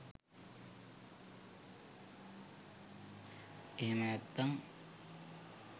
එහෙම නැත්නම්